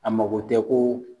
A mako tɛ ko.